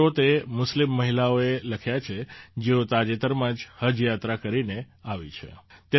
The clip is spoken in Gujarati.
આ પત્રો તે મુસ્લિમ મહિલાઓએ લખ્યા છે જેઓ તાજેતરમાં જ હજ યાત્રા કરીને આવી છે